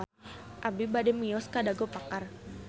Abi bade mios ka Dago Pakar